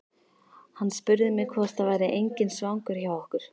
Hann spurði mig hvort það væri enginn svangur hjá okkur.